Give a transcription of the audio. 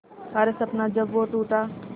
हर सपना जब वो टूटा